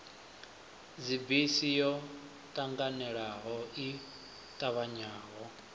dzibisi yo ṱanganelano i ṱavhanyaho